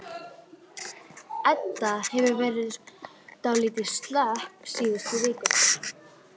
Edda hefur verið dálítið slöpp síðustu vikurnar.